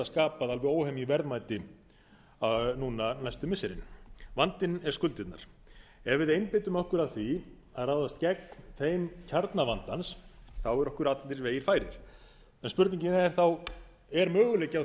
skapað alveg óhemjuverðmæti núna næstu missirin vandinn er skuldirnar ef við einbeitum okkur að því að ráðast gegn þeim kjarna vandans þá eru okkur allir vegir færir en spurningin er þá er möguleiki á